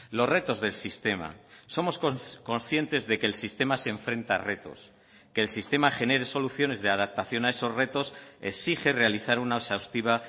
los retos del sistema somos conscientes de que el sistema se enfrenta a retos que el sistema genere soluciones de adaptación a esos retos exige realizar una exhaustiva